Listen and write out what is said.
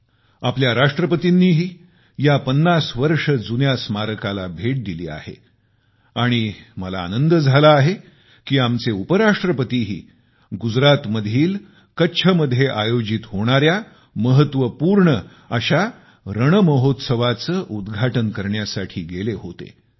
आमच्या माननीय राष्ट्रपतींनीही या पन्नास वर्ष जुन्या रॉक स्मारकाला भेट दिली आहे आणि मला आनंद आहे की आमचे उपराष्ट्रपतीही गुजरातमधील कच्छ मध्ये आयोजित झालेल्या महत्वपूर्ण अशा रणमहोत्सवाचे उद्घाटन करण्यासाठी गेले होते